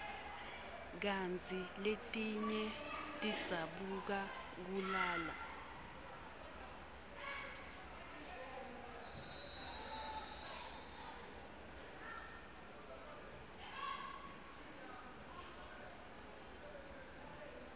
kantsi letinye tidzabuka kalula